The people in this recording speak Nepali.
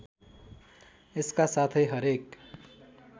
यसका साथै हरेक